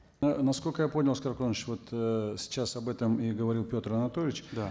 ы насколько я понял аскар куанышевич вот ыыы сейчас об этом и говорил петр анатольевич да